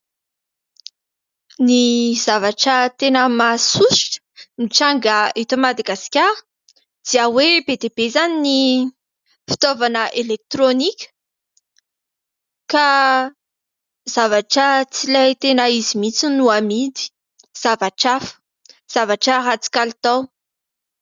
Ny zavatra tena mahasosotra mitranga eto Madagasikara dia hoe be dia be, izany ny fitaovana elektroaniaka ,ka zavatra tsy ilay tena izy mintsy no amidy fa zavatra hafa. Zavatra ratsy kalitao.